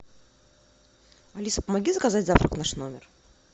алиса помоги заказать завтрак в наш номер